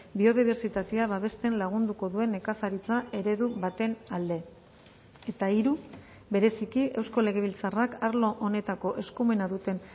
biodibertsitatea babesten lagunduko duen nekazaritza eredu baten alde eta hiru bereziki eusko legebiltzarrak arlo honetako eskumena duten